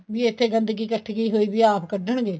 ਵੀ ਇੱਥੇ ਗੰਦਗੀ ਕੱਠੀ ਹੋਈ ਪਈ ਹੈ ਆਪ ਕੱਢਣ ਗਏ